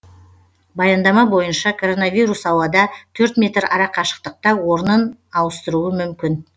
баяндама бойынша коронавирус ауада төрт метр арақашықтықта орнын ауыстыруы мүмкін